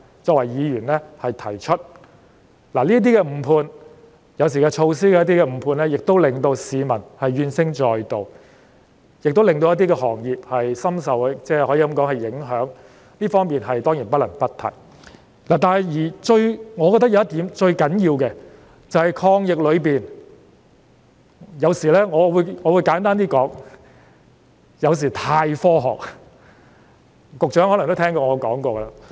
政府那些誤判——有時是有關措施的誤判——令市民怨聲載道，亦令一些行業深受影響，這當然不得不提，但是，我認為最重要的一點，就是有關抗疫的決策——我簡單說——有時過分基於科學。